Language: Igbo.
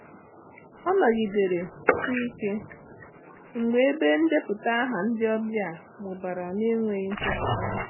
Ọ nọgidere-si ike mgbe ebe ndepụta aha ndị ọbịa mụbara n'enweghị nchọpụta.